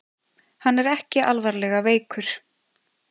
Hann er ekki alvarlega veikur